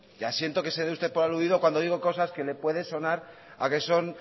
ya siento que se dé usted por aludido cuando digo cosas que le puede sonar a que son